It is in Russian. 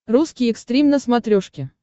русский экстрим на смотрешке